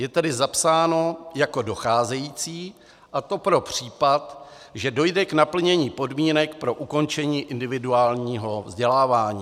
Je tady zapsáno jako docházející, a to pro případ, že dojde k naplnění podmínek pro ukončení individuálního vzdělávání.